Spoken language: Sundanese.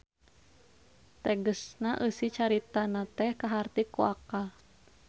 Tegesna eusi caritana teh kaharti ku akal.